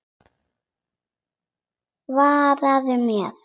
Svaraðu mér.